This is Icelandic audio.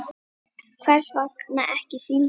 Hvers vegna ekki síldin?